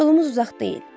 Yolumuz uzaq deyil.